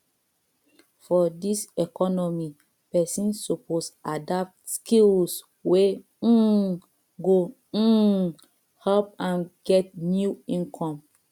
for dis economy pesin suppose adapt skills wey um go um help am get new income